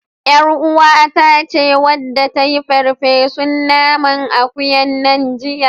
ƳarUwata ce wadda ta yi farfesun nanan akuyan nan jiya.